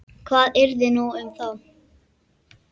Hvað yrði nú um þá?